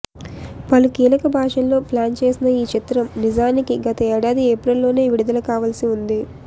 పలు కీలక భాషల్లో ప్లాన్ చేసిన ఈ చిత్రం నిజానికి గత ఏడాది ఏప్రిల్ లోనే విడుదల కావాల్సి ఉంది